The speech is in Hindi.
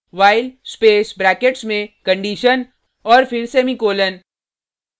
while स्पेस ब्रैकेट्स में condition औऱ फिर सेमीकॉलन